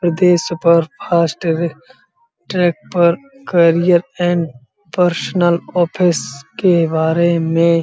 super fast track पर personal office के बारे में --